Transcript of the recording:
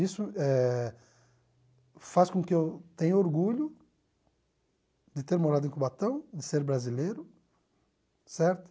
Isso eh faz com que eu tenha orgulho de ter morado em Cubatão, de ser brasileiro, certo?